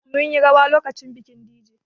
Mun yi rawa lokacin bikin Dije